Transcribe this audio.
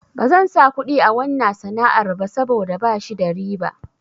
Bazan sa kuɗi a wanna sana'ar ba saboda bashi da riba.